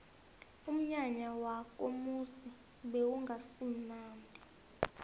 umnyanya wakomuzi bewungasimunandi